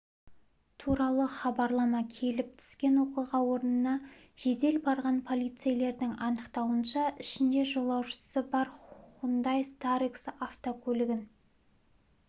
туралы хабарлама келіп түскен оқиға орнына жедел барған полицейлердің анықтауынша ішінде жолаушысы бар хундай-старекс автокөлігін